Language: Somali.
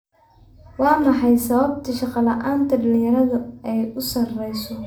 Waa maxay sababta shaqo la'aanta dhalinyaradu ay u sarayso?